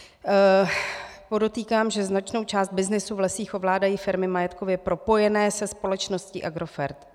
Podotýkám, že značnou část byznysu v lesích ovládají firmy majetkově propojené se společností Agrofert.